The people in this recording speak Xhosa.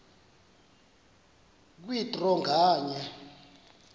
kwe draw nganye